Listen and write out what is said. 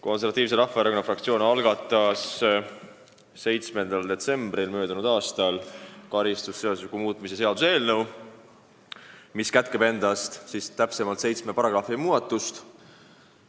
Konservatiivse Rahvaerakonna fraktsioon algatas möödunud aasta 7. detsembril karistusseadustiku muutmise seaduse eelnõu, mis kätkeb endas seitsme paragrahvi muudatust.